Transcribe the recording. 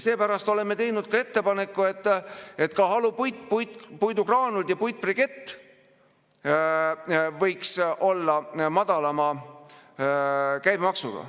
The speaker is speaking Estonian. Seepärast oleme teinud ettepaneku, et halupuit, puidugraanulid ja puitbrikett võiksid olla madalama käibemaksuga.